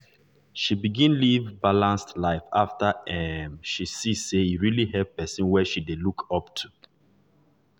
she begin live balanced life after um she see say e really help person wey she dey look up to.